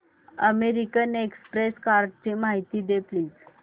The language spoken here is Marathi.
अमेरिकन एक्सप्रेस कार्डची माहिती दे प्लीज